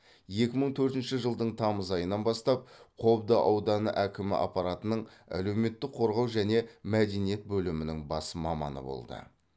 екі мың төртінші жылдың тамыз айынан бастап қобда ауданы әкімі аппаратының әлеуметтік қорғау және мәдениет бөлімінің бас маманы болды